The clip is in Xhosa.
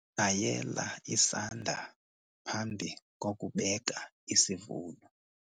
Tshayela isanda phambi kokubeka isivuno.